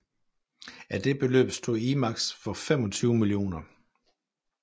Af det beløb stod IMAX for 25 mio